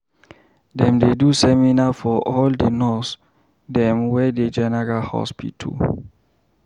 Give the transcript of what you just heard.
Dem dey do seminar for all di nurse dem wey dey general hospital.